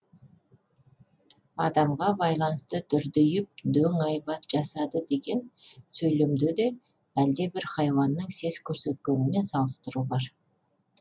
адамға байланысты дүрдиіп дөң айбат жасады деген сөйлемде де әлдебір хайуанның сес көрсеткенімен салыстыру бар